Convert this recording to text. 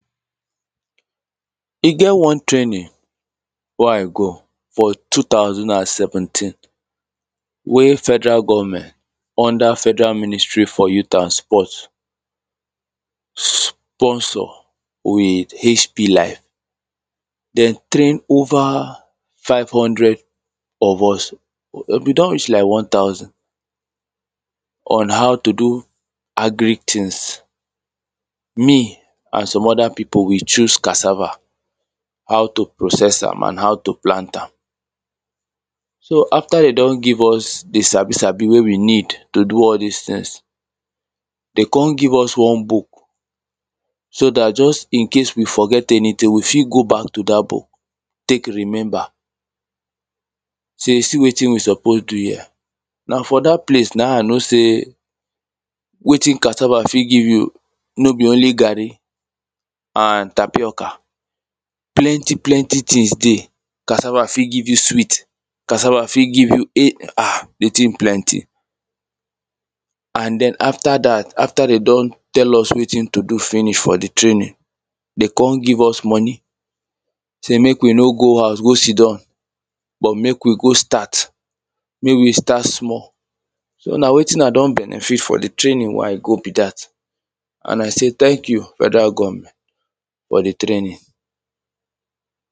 e get one training wey i go for two thousand and seventeen wey federal government under federal ministry for youth and sport sponsor with hp line they train overS five hundred of us we been don reach like one thousand on how to do agric things me and some other people we choose cassava how to process am and how to plant am so after they don give us the sabi sabi wey we need to do all this things they con give us one book so that just in case we forget anything we fit go back to that book take remember say see wetin we suppose do here na for that place na i know say wetin cassava fit give you no be only garri and tapioca plenty plenty things dey cassava fit give you sweet cassava fit give you [um ]the thing plenty and then after that after they don tell us wetin to do finish for the training they con give us money sey make we no go house go sidon but make we go start make we start small so na wetin i don benefit for the training wey i go be that and i say thank you federal government for the training